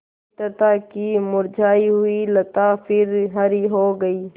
मित्रता की मुरझायी हुई लता फिर हरी हो गयी